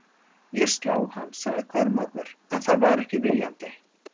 Ég sló hann, sagði Kormákur, en það var ekki viljandi.